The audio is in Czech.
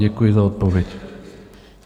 Děkuji za odpověď.